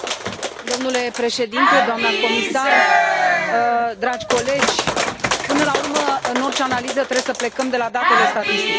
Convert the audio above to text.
Domnule președinte, doamnă comisar, dragi colegi, până la urmă, în orice analiză trebuie să plecăm de la datele statistice.